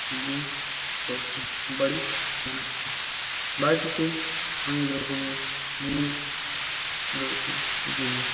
Gym করছে body বানাচ্ছে বাড়িটিতে অনেক রকমের জিনিস রয়েছে জিম -এর ।